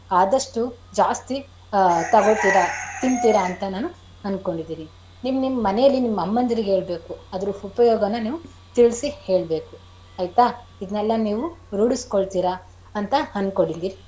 ಆದಷ್ಟು ಜಾಸ್ತಿ ತಗೋತೀರಾ ತಿಂತಿರಾ ಅಂತ ನಾನು ಅನ್ಕೊಂಡಿದೀನಿ. ನಿಮನಿಮ್ ಮನೇಲಿ ನಿಮ್ ಅಮ್ಮಂದಿರ್ಗೆ ಹೇಳ್ಬೇಕು ಅದರ ಉಪಯೋಗನ ನೀವು ತಿಳಿಸಿ ಹೇಳ್ಬೇಕು ಆಯ್ತಾ ಇದನೆಲ್ಲ ನೀವು ರೂಢಿಸ್ಕೊಳ್ತೀರಾ ಅಂತ ಅನ್ಕೊಂಡಿದಿನಿ.